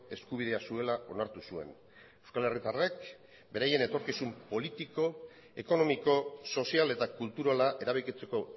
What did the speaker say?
eskubidea zuela onartu zuen euskal herritarrek beraien etorkizun politiko ekonomiko sozial eta kulturala erabakitzeko